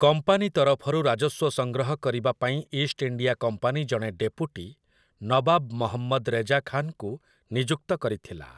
Company ତରଫରୁ ରାଜସ୍ୱ ସଂଗ୍ରହ କରିବା ପାଇଁ ଇଷ୍ଟ ଇଣ୍ଡିଆ କମ୍ପାନୀ ଜଣେ ଡେପୁଟି ନବାବ ମହମ୍ମଦ ରେଜା ଖାନ୍‌ଙ୍କୁ ନିଯୁକ୍ତ କରିଥିଲା ।